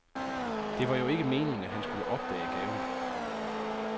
Det var jo ikke meningen, at han skulle opdage gaven.